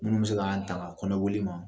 Minnu be se ka an taŋa kɔnɔboli ma